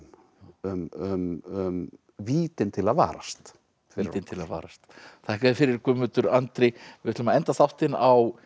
um vítin til að varast vítin til að varast þakka þér fyrir Guðmundur Andri við ætlum að enda þáttinn á